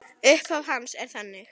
Upphaf hans er þannig